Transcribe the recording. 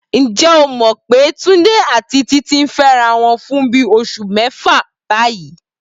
Ǹjẹ́ o mọ̀ pé Túndé àti Títí ti ń fẹ́ra wọn fún bí oṣù mẹ́fà báyìí?